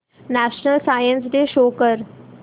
national science day show कर